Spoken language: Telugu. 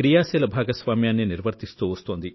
క్రియాశీల భాగస్వామ్యాన్ని నిర్వర్తిస్తూ వస్తోంది